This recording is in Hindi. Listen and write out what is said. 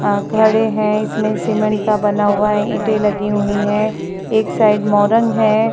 अ खड़े हैं इसमें सीमेंट का बना हुआ है। ईंटे लगी हुई है एक साइड मोरंग है।